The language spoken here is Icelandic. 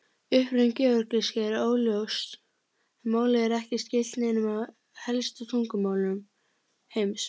Uppruni georgísku er óljós en málið er ekki skylt neinum af helstu tungumálum heims.